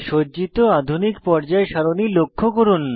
সজ্জিত আধুনিক পর্যায় সারণী লক্ষ্য করুন